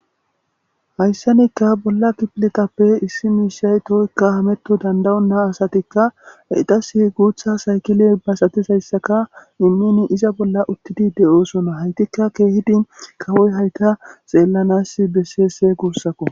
Hayssanikka bolla kipilekappe issi miishay tooykka hametto dandayonnaa asatikka eiqas guutha saykile basatisayssaka immini iza bolla uttidi de'oosona haytikka keehidin kawoy hayka xeellanas besseese guussakko.